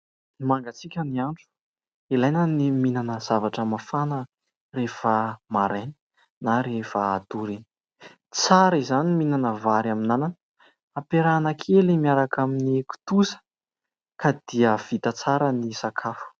Mangatsiaka ny andro. Ilaina ny mihinana zavatra mafana rehefa maraina na rehefa hatory iny. Tsara izany ny mihinana vary amin'anana apiarahana kely miaraka amin'ny kitoza, ka dia vita tsara ny sakafo.